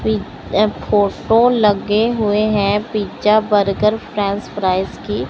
ये फोटो लगे हुए हैं पिज्जा बर्गर फ्रेंच फ्राइज की।